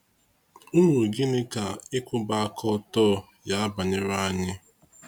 Uru gịnị ka ikwuba aka ọtọ ya baara anyi